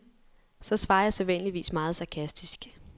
Så svarer jeg sædvanligvis meget sarkastisk.